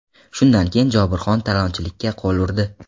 Shundan keyin Jobirxon talonchilikka qo‘l urdi.